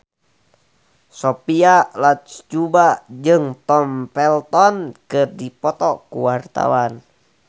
Sophia Latjuba jeung Tom Felton keur dipoto ku wartawan